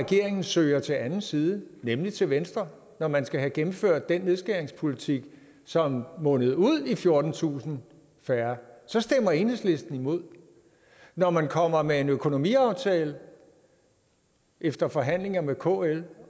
regeringen søger til anden side nemlig til venstre når man skal have gennemført den nedskæringspolitik som mundede ud i fjortentusind færre så stemmer enhedslisten imod når man kommer med en økonomiaftale efter forhandlinger med kl